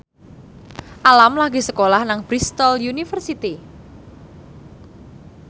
Alam lagi sekolah nang Bristol university